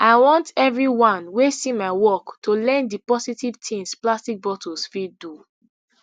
i want evri one wey see my work to learn di positive tins plastic bottles fit do